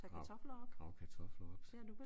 Grave grave kartofler op